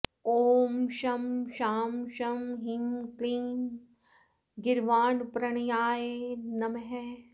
ॐ शं शां षं ह्रीं क्लीं गीर्वाणप्रणयाय नमः